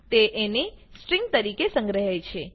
તે એને સ્ટ્રીંગ તરીકે સંગ્રહે છે